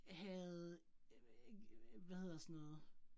Havde øh hvad hedder sådan noget